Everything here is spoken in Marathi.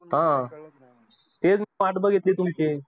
हा वाट बघितली तुमची.